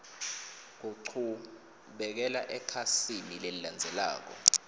kuchubekela ekhasini lelilandzelako